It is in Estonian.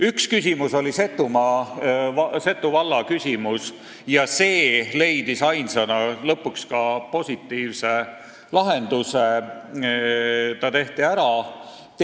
Üks küsimus oli Setomaa valla küsimus ja see leidis ainsana lõpuks ka positiivse lahenduse: see tehti ära.